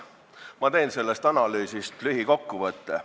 Ma teen sellest analüüsist lühikokkuvõtte.